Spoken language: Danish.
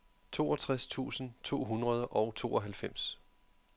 toogtres tusind to hundrede og tooghalvfems